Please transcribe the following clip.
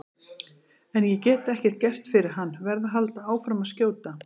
En ég get ekkert gert fyrir hann, verð að halda áfram að skjóta.